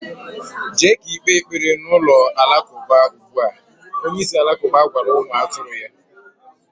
Jee ka ikpe ekpere na ulo-Alakauba ugbua, Onye isi Alakuba gwara umu aturu ya.